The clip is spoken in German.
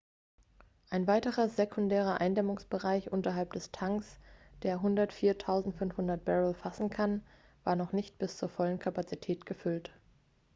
ein weiterer sekundärer eindämmungsbereich unterhalb der tanks der 104.500 barrel fassen kann war noch nicht bis zur vollen kapazität gefüllt